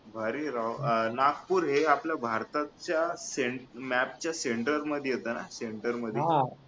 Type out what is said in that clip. भारी हाय राव अह नागपूर हे भारताच्या center map च्या center मध्ये येत ना center मध्ये